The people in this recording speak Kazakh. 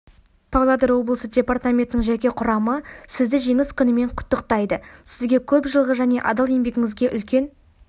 павлодар облысы департаментінің жеке құрамы сізді женис күнімен құттықтайды сізге көп жылғы және адал еңбегіңізге үлкен